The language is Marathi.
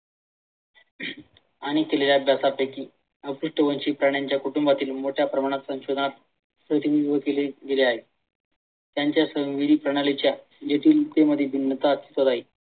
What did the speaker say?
आणि दिलेल्या अभ्यासापैकी अपृष्ठवंशी प्राण्यांच्या कुटुंबातील मोठ्या प्रमाणात संशोधनात केले गेले आहे. त्यांच्या प्रणालीच्या